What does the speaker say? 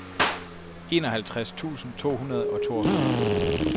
enoghalvtreds tusind to hundrede og toogfyrre